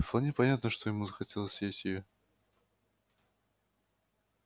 вполне понятно что ему захотелось съесть её